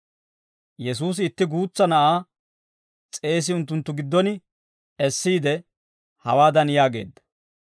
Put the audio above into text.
Yesuusi itti guutsa na'aa s'eesi unttunttu giddon essiide, hawaadan yaageedda;